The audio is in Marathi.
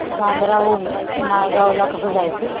बांद्रा हून नायगाव ला कसं जायचं